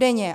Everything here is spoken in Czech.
Denně.